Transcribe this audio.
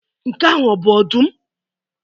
Nke ahụ ọ bụ ọdụm?